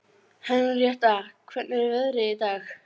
Henrietta, hvernig er veðrið í dag?